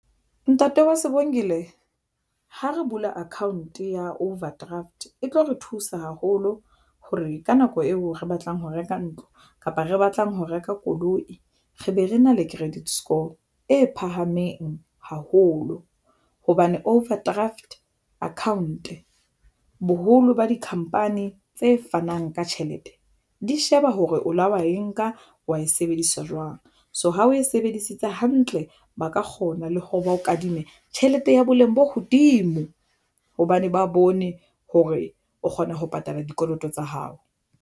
Ntate wa Sebongile ha re bula account ya overdraft e tlo re thusa haholo hore ka nako eo re batlang ho reka ntlo kapa re batlang ho reka koloi, re be re na le credit score e phahameng haholo hobane overdraft account boholo ba dikhampani tse fanang ka tjhelete di sheba hore o lo wa e nka wa e sebedisa jwang so, ha o e sebedisitse hantle, ba ka kgona le hore ba o kadime tjhelete ya boleng bo hodimo hobane ba bone hore o kgona ho patala dikoloto tsa hao.